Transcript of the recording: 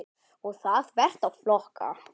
Og það þvert á flokka.